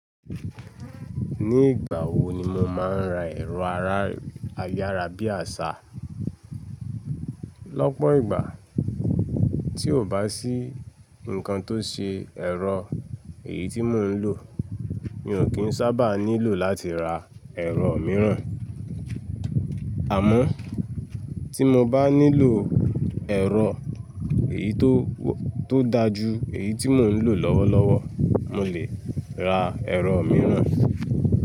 Ní ìgbà wo ni mo máa ń ra ẹ̀rọ ayárabíàṣá? Lọ́pọ̀ ìgbà tí kò bá sí nǹkan tó ṣe ẹ̀rọ èyí tí mo ń lò, mi ò kí ń sábà nílò láti ra ẹ̀rọ mìíràn. Àmọ́ tí mo bá nílò ẹ̀rọ tó dá ju èyí tí mo ń lò lọ́wọ́lọ́wọ́, mo lè ra ẹ̀rọ mìíràn.